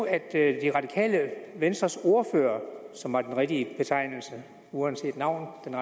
at det radikale venstres ordfører som er den rigtige betegnelse uanset navn